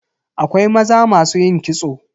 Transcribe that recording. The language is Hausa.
Akwai maza masu yin kitso.